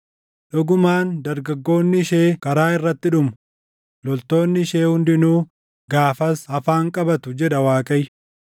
Dhugumaan dargaggoonni ishee karaa irratti dhumu; loltoonni ishee hundinuu gaafas afaan qabatu” jedha Waaqayyo.